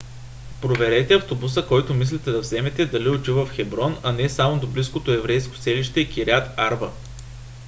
проверете автобуса който мислите да вземете дали отива в хеброн а не само до близкото еврейско селище кирят арба